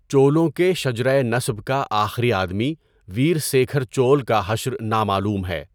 چولوں کے شجرہٴ نسب کا آخری آدمی ویرسیکھر چول کا حشر نامعلوم ہے۔